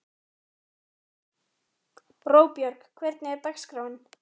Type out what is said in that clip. Róbjörg, hvernig er dagskráin?